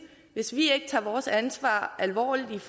hvis vi ikke tager vores ansvar alvorligt